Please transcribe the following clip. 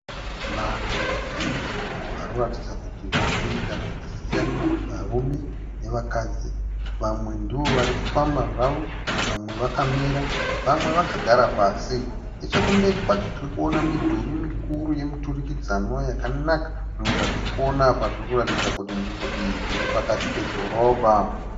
Vanhu vazhinji vanoratidza kuti varikuita zvakasiyana varume nevakadzi. Vamwe ndovari kufamba zvavo vamwe vakamira vamwe vakagara pasi. Nechekumberi kwacho tirikuona midhuri mikuru yemiturikidzanwa yakanaka. Zvinhu zvatirikuona apa zvirikuratidza kuti nzvimbo iyi iri pakati pedhorobha.